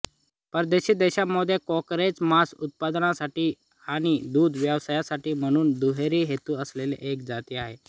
परदेशी देशांमध्ये कांकरेज मांस उत्पादनासाठी आणि दूध व्यवसायासाठी म्हणून दुहेरी हेतू असलेली एक जाती आहे